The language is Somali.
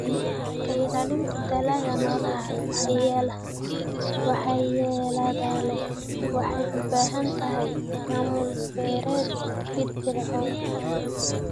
Ka ilaalinta dalagga noolaha waxyeelada leh waxay u baahan tahay maamul beereed firfircoon.